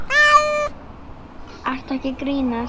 Ertu ekki að grínast?